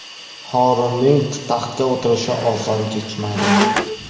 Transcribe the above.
Horunning taxtga o‘tirishi oson kechmadi.